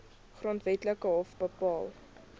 grondwetlike hof bepaal